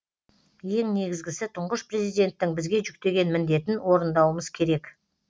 ең негізгісі тұңғыш президенттің бізге жүктеген міндетін орындауымыз керек